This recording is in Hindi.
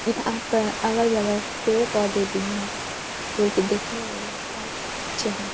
यहाँ पर अगल-बगल पेड़-पौधे भी हैं जो कि दिखने में बहोत अच्छे हैं|